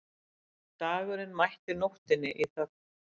Dagurinn mætti nóttinni í þögn.